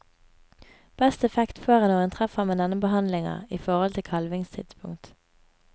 Best effekt får en når en treffer med denne behandlinga i forhold til kalvingstidspunkt.